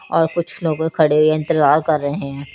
और कुछ लोग खड़े हुए इंतेज़ार कर रहे है।